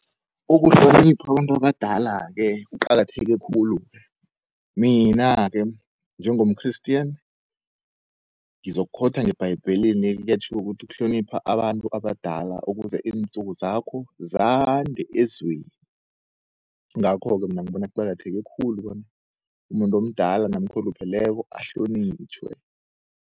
Ukuhlonipha abantu abadala-ke kuqakatheke khulu. Mina-ke njengom-Christian ngizokukhowutha ngebhayebhelini kuyatjhiwo ukuthi ukuhlonipha abantu abadala ukuze iinsuku zakho zande elizweni. Ingakho-ke mina ngibona kuqakatheke khulu bona umuntu omdala namkha olupheleko ahlonitjhwe.